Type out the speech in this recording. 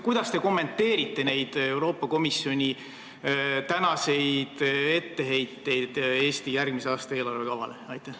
Kuidas te kommenteerite neid Euroopa Komisjoni tänaseid etteheiteid Eesti järgmise aasta eelarvekavale?